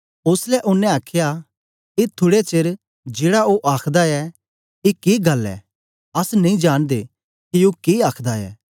ओसलै ओनें आखया ए थुड़े चेर जेड़ा ओ आखदा ऐ ए के गल्ल ऐ अस नेई जांनदे के ओ के आखदा ऐ